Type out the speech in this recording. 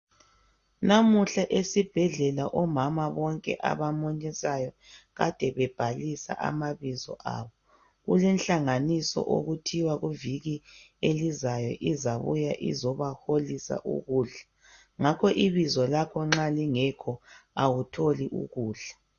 Namuhla esibhedlela omama bonke abamunyisayo kade bebhalisa amabizo abo. Kulenhlanganiso okuthiwa kuviki elizayo izabuya izebaholisa ukudla. Ngakho ibizo lakho nxa ligekho awutholi ukudla.